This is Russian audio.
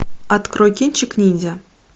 открой кинчик ниндзя